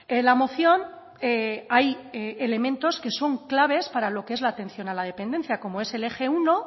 en la moción hay elementos que son claves para lo que es la atención a la dependencia como es el eje uno